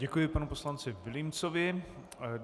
Děkuji panu poslanci Vilímcovi.